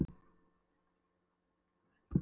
Júlíu að líklega hefði hann vitað um gjöfina fyrirfram.